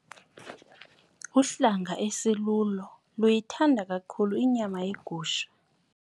Uhlanga esilulo luyithanda kakhulu inyama yegusha.